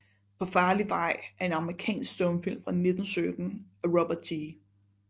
Paa farlig Vej er en amerikansk stumfilm fra 1917 af Robert G